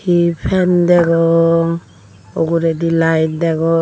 hi fan degong ugredi light degong.